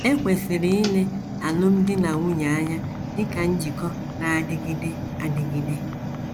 E kwesịrị ile alụmdi na nwunye anya dị ka njikọ na - adịgide adịgide.